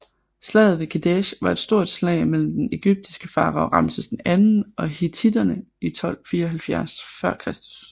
Slaget ved Kadesh var et stort slag mellem den ægyptiske farao Ramses II og hittitterne i 1274 f